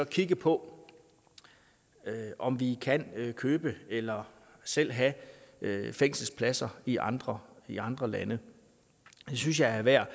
kigge på om vi kan købe eller selv have fængselspladser i andre i andre lande det synes jeg er værd